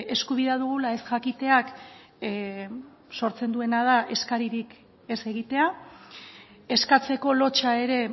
eskubidea dugula ez jakiteak sortzen duena da eskaririk ez egitea eskatzeko lotsa ere